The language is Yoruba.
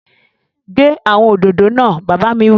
Gé àwọn òdòdó náà! Bàbá mi wí